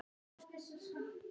Tárin frjósa.